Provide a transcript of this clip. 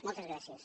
moltes gràcies